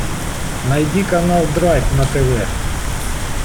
найди канал драйв на тв